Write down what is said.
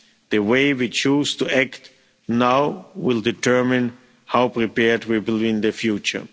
The way we choose to act now will determine how prepared we will be in the future.